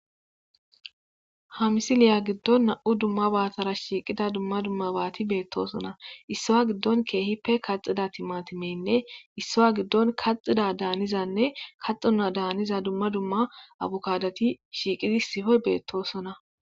Ha misiliya gidon nam'u dumabatara shiiqida duma duma bati beetosona issa gido kehippe kaxida timatimeynne issa gidon kaaxoda daaniza duma duma abukadoti shiiwidi issippe beetosona.